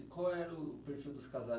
E qual era o perfil dos casais